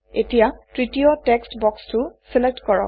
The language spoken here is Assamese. এতিয়া তৃতীয় টেক্সট্ বক্সটো চিলেক্ট কৰক